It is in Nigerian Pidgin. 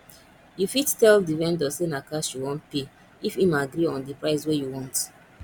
you fit tell di vendor sey na cash you wan pay if im agree on di price wey you want